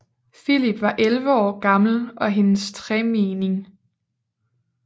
Filip var elleve år gammel og hendes tremenning